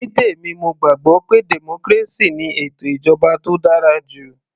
Ní tèmi mo gbàgbọ́ pé democracy ni ètò ìjọba tó dára jù